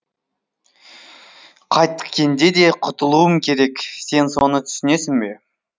қайткенде де құтылуым керек сен соны түсінесің бе